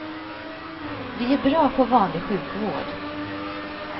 Vi är bra på vanlig sjukvård.